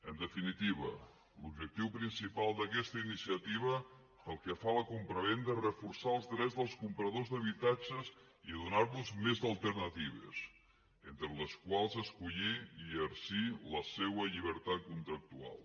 en definitiva l’objectiu principal d’aquesta iniciativa pel que fa a la compravenda és reforçar els drets dels compradors d’habitatges i donar los més alternatives entre les quals escollir i exercir la seva llibertat contractual